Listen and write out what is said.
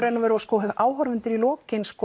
áhorfendur í lokin